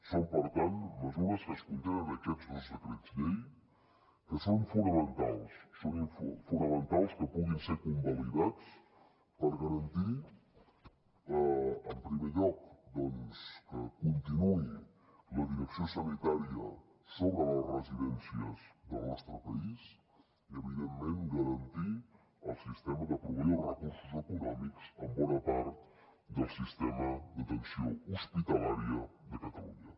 són per tant mesures que es contenen en aquests dos decrets llei que són fonamentals és fonamental que puguin ser convalidats per garantir en primer lloc doncs que continuï la direcció sanitària sobre les residències del nostre país i evidentment garantir el sistema de proveir els recursos econòmics a bona part del sistema d’atenció hospitalària de catalunya